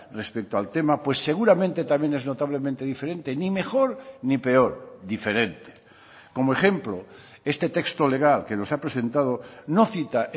respecto al tema pues seguramente también es notablemente diferente ni mejor ni peor diferente como ejemplo este texto legal que nos ha presentado no cita